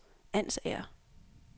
Ansager